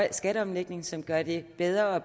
en skatteomlægning som gør det bedre og